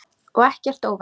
Og ekkert óvænt.